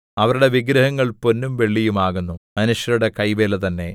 അവരുടെ വിഗ്രഹങ്ങൾ പൊന്നും വെള്ളിയും ആകുന്നു മനുഷ്യരുടെ കൈവേല തന്നെ